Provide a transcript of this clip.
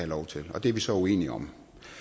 lov til det er vi så uenige om